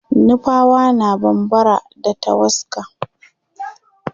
nupawa na bambara da tawaska